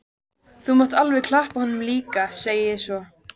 Þú mátt alveg klappa honum líka, segi ég svo.